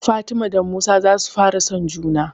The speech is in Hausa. Fatima da Musa za su fara son juna